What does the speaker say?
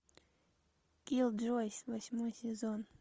киллджойс восьмой сезон